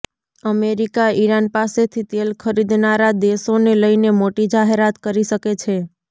America Iran પાસેથી તેલ ખરીદનારા દેશોને લઈને મોટી જાહેરાત કરી શકે છે